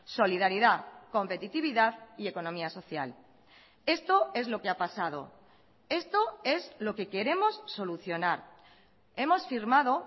solidaridad competitividad y economía social esto es lo que ha pasado esto es lo que queremos solucionar hemos firmado